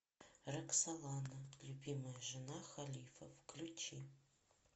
роксолана любимая жена халифа включи